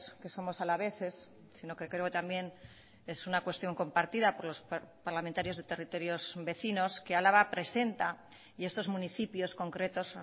que somos alaveses sino que creo también es una cuestióncompartida por los parlamentarios de territorios vecinos que álava presenta y estos municipios concretos